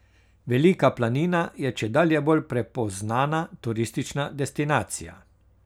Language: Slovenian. Velika planina je čedalje bolj prepoznana turistična destinacija.